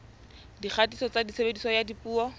dikgatiso tsa tshebediso ya dipuo